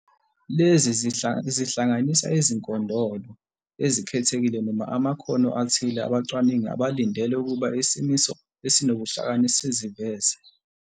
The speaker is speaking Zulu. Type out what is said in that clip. Lezi zihlanganisa izinkondolo ezikhethekile noma amakhono athile abacwaningi abalindele ukuba isimiso esinobuhlakani siziveze.